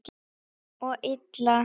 Og illa.